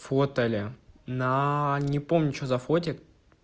фотали на не помню что за фотик